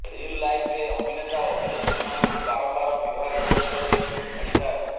reel ଲାଇଫରେ ଅଭିନେତା ଓ ଅଭିନେତ୍ରୀ ମାନଙ୍କୁ ବାରମ୍ବାର ବିବାହ କରୁଥିବାର ଦେଖିବାକୁ ମିଳିଥାଏ